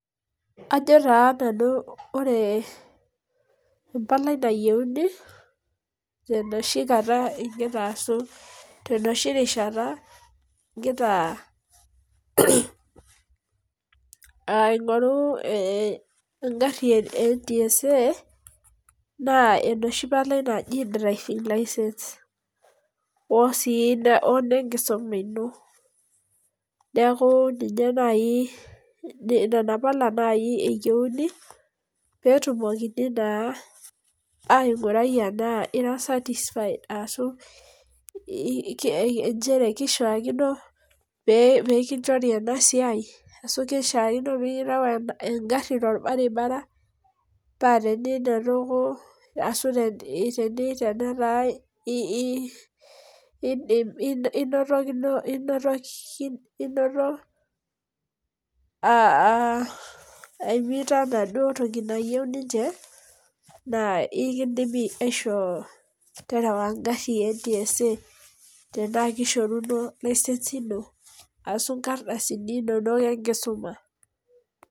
Ajo taa nanu ore empalai nayieuni ,tenoshi kata igira aasu. ashu tenoshi rishata igira aing'oru egari eNTSA naa enoshi palai naji driving license .osii enenkisuma ino. neekh ninye naaji Nena pala naaji eyieuni pee etumokini naa aigurai ena itii certified arashu nchere keishaakino pee ekinchorita ena siai. ashu kishakino pee oreu egari. tolabaribara. paa teninotoko ashu tenetaa. inoto aimita enaduo toki nayieu ninche. naa ekeidimi aiishoo terewa egari e NTSA .tenaa kishoruno license ashu nkardasini inonok enkisuma.